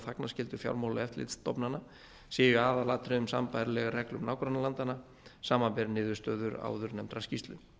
þagnarskyldu fjármála og eftirlitsstofnana séu í aðalatriðum sambærileg reglum nágrannalandanna samanber niðurstöður áðurnefndrar skýrslu